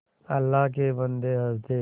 अल्लाह के बन्दे हंस दे